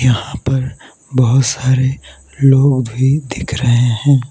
यहां पर बहोत सारे लोग भी दिख रहे हैं।